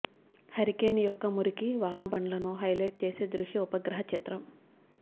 hurricane యొక్క మురికి వానబండ్లను హైలైట్ చేసే దృశ్య ఉపగ్రహ చిత్రం